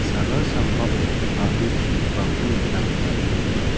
sagal sambao a·bri chu·gipako nikna gita man·gen.